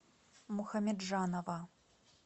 мухамеджанова